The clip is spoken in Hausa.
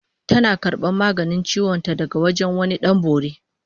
Tana karbar maganin ciwon ta daga wajen wani Dan Bori